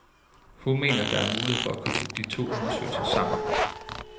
Hun mener, der er mulighed for at koble de to undersøgelser sammen.